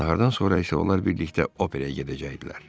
Nahardan sonra isə onlar birlikdə operaya gedəcəkdilər.